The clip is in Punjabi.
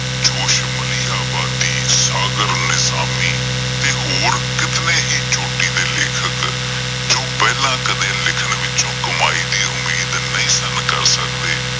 ਜੋਸ਼ ਮਲੀਰਾਂ ਵਾਦੀ, ਸਾਗਰ ਨਿਸਾਮੀ ਅਤੇ ਹੋਰ ਕਿਤਨੇਂ ਹੀ ਚੋਟੀ ਦੇ ਲੇਖਕ ਪਹਿਲਾਂ ਕਦੇ ਲਿਖਣ ਵਿੱਚੋਂ ਕਮਾਈ ਦੀ ਉਮੀਦ ਨਹੀਂ ਸੀ ਕਰ ਸਕਦੇ।